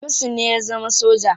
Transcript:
Hamisu ne ya zama soja.